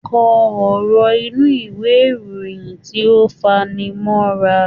Kọ ọ̀rọ̀ inú ìwé ìròyìn tí ó fani mọ́ra.